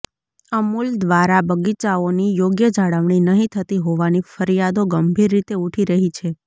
અમૂલ દ્વારા બગીચાઓની યોગ્ય જાળવણી નહી થતી હોવાની ફરિયાદો ગંભીર રીતે ઉઠી રહી છે